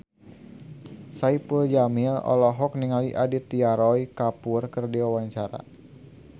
Saipul Jamil olohok ningali Aditya Roy Kapoor keur diwawancara